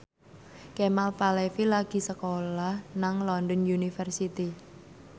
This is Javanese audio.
Kemal Palevi lagi sekolah nang London University